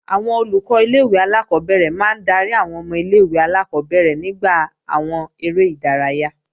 Àwọn Olùkọ́ ilé-ìwé alákọ́bẹ̀rẹ̀ máa ń darí àwọn ọmọ ilé-ìwé alákọ́bẹ̀rẹ̀ nígbà àwọn eré ìdárayá